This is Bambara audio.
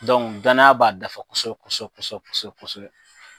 danaya b'a dafa kosɛbɛ kosɛbɛ kosɛbɛ kosɛbɛ kosɛbɛ